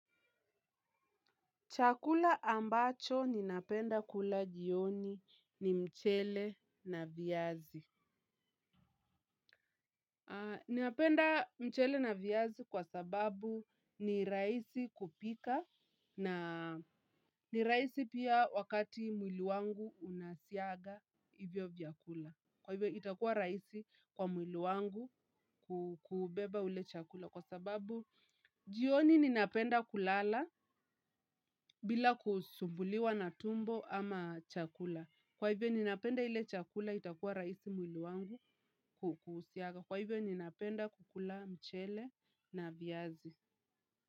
Chakula ambacho ninapenda kula jioni ni mchele na viazi. Ninapenda mchele na viazi kwa sababu ni rahisi kupika na ni rahisi pia wakati mwili wangu unasiaga hivyo vyakula. Kwa hivyo itakuwa rahisi kwa mwili wangu kubeba ule chakula kwa sababu jioni ninapenda kulala bila kusumbuliwa na tumbo ama chakula. Kwa hivyo ninapenda ile chakula itakuwa rahisi mwili wangu kuhusiaga. Kwa hivyo ninapenda kukula mchele na viazi.